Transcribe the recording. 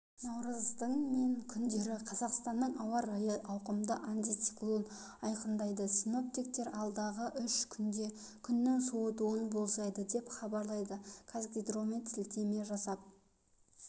наурыздың мен күндері қазақстанның ауа райын ауқымды антициклон айқындайды синоптиктер алдағы үш күнде күннің суытуын болжайды деп хабарлайды қазгидромет сілтеме жасап